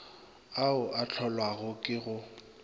ao a hlolwago ke go